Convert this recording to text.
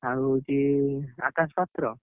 ଆଉ ହଉଛି ଆକାଶ ପାତ୍ର।